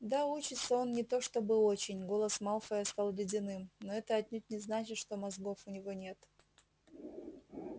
да учится он не то чтобы очень голос малфоя стал ледяным но это отнюдь не значит что мозгов у него нет